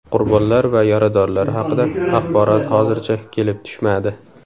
Qurbonlar va yaradorlar haqida axborot hozircha kelib tushmadi.